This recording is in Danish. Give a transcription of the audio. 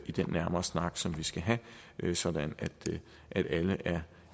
i den nærmere snak som vi skal have sådan at alle er